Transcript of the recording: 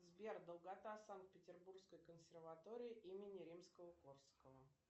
сбер долгота санкт петербургской консерватории имени римского корсакова